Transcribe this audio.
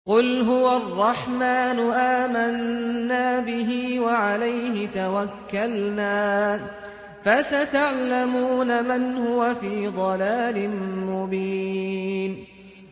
قُلْ هُوَ الرَّحْمَٰنُ آمَنَّا بِهِ وَعَلَيْهِ تَوَكَّلْنَا ۖ فَسَتَعْلَمُونَ مَنْ هُوَ فِي ضَلَالٍ مُّبِينٍ